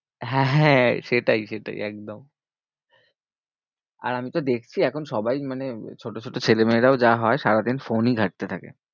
হ্যাঁ, হ্যাঁ সেটাই সেটাই একদম আর আমি তো দেখছি এখন সবাই মানে ছোট ছোট ছেলে মেয়েরাও যা হয় সারাদিন phone ই ঘাঁটতে থাকে।